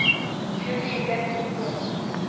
heavily indebted poor